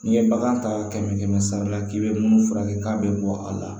N'i ye bagan ta kɛmɛ kɛmɛ sara la k'i bɛ munnu furakɛ k'a bɛ bɔ a la